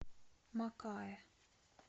макаэ